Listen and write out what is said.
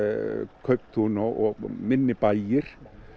kauptún og minni bæir